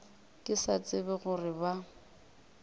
ke sa tsebe gore ba